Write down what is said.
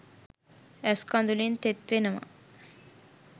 ඇස් කදුළින් තෙත් වෙනවා.